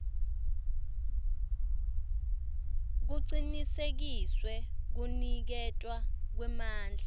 kucinisekiswe kuniketwa kwemandla